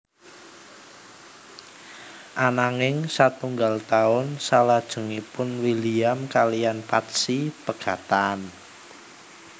Ananging satunggal taun salajengipun William kaliyan Patsy pegatan